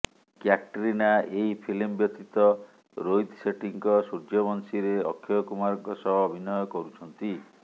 କ୍ୟାଟ୍ରିନା ଏହି ଫିଲ୍ମ ବ୍ୟତୀତ ରୋହିତ ଶେଟ୍ଟୀଙ୍କ ସୂର୍ଯ୍ୟବଂଶୀରେ ଅକ୍ଷୟ କୁମାରଙ୍କ ସହ ଅଭିନୟ କରୁଛନ୍ତି